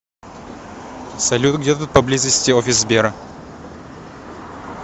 салют где тут поблизости офис сбера